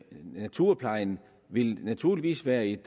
naturplejen vil naturligvis være et